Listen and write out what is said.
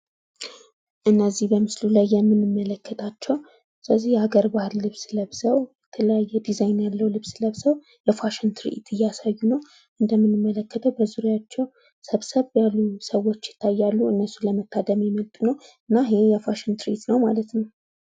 እነዚህ በምስሉ ላይ የምንመለክታቸው የሀገር ባህል ልብስ ለበሰው የተለያየ ዲዛይን ያለው ልብስ ለብሰው ለፋሽን ትርኢት እያሳዩ ነው። እንደምንለከተው በዙሪያቸው ሰብሰብ ያሉ ሰዎች ይታያሉ። እነሱን ለመታደም የመጡ ናቸው። እና ይህ የፋሽን ትርኢት ነው ማለት ነው።